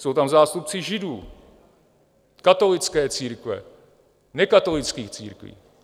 Jsou tam zástupci Židů, katolické církve, nekatolických církví.